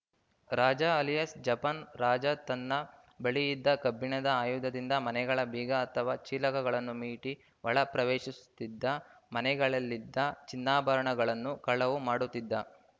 ರಾಜ alias Japan Raja ತನ್ನ ಬಳಿಯಿದ್ದ ಕಬ್ಬಿಣದ ಆಯುಧದಿಂದ ಮನೆಗಳ ಬೀಗ ಅಥವಾ ಚೀಲಕಗಳನ್ನು ಮೀಟಿ ಒಳ ಪ್ರವೇಶಿಸುತ್ತಿದ್ದ ಮನೆಗಳಲ್ಲಿದ್ದ ಚಿನ್ನಾಭರಣಗಳನ್ನು ಕಳವು ಮಾಡುತ್ತಿದ್ದ